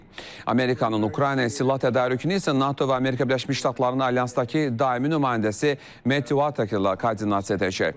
Amerikanın Ukraynaya silah tədarükünü isə NATO və Amerika Birləşmiş Ştatlarının alyansdakı daimi nümayəndəsi Metti Wakerlə koordinasiya edəcək.